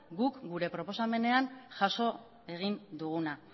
gure proposamenean jaso egin duguna